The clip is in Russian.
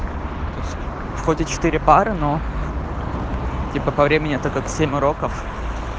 входе четыре пары ну типа по времени это как семь уроков